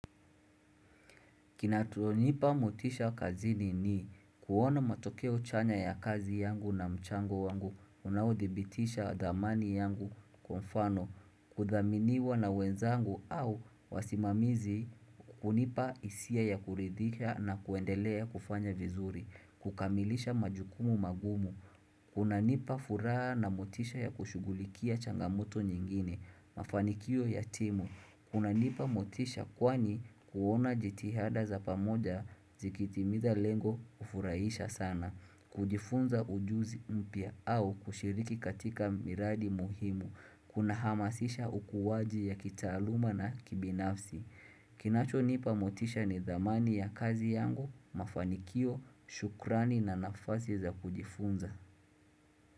Kinachonipa motisha kazini ni kuona matokeo chanya ya kazi yangu na mchango wangu unaodhibitisha dhamani yangu kwa mfano kudhaminiwa na wenzangu au wasimamizi hunipa hisia ya kuridhika na kuendelea ya kufanya vizuri, kukamilisha majukumu magumu. Kunanipa furaha na motisha ya kushughulikia changamoto nyingine, mafanikio ya timu kunanipa motisha kwani kuona jitihada za pamoja zikitimiza lengo hufurahisha sana kujifunza ujuzi mpya au kushiriki katika miradi muhimu Kunahamazisha ukuaji ya kitaaluma na kibinafsi Kinachonipa motisha ni dhamani ya kazi yangu, mafanikio, shukrani na nafasi za kujifunza.